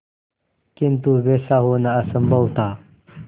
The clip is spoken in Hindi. किंतु वैसा होना असंभव था